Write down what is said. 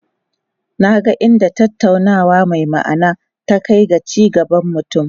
Na ga inda tattaunawa mai ma'ana ta kai ga ci gaban mutum.